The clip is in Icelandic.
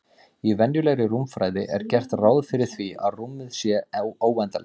Í venjulegri rúmfræði er gert ráð fyrir því að rúmið sé óendanlegt.